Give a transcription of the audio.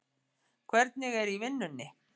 Hvernig er í vinnunni?